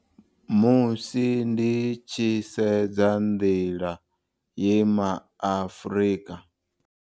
Musi ndi tshi sedza nḓila ye maAfrika.